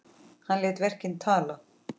Hann lét verkin tala.